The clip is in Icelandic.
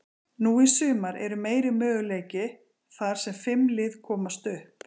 Nú í sumar er meiri möguleiki, þar sem fimm lið komast upp.